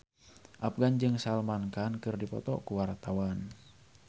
Afgan jeung Salman Khan keur dipoto ku wartawan